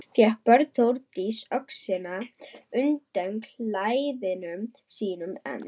Fékk Björn Þórdísi öxina undan klæðum sínum en